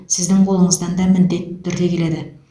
сіздің қолыңыздан да міндетті түрде келеді